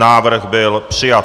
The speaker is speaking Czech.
Návrh byl přijat.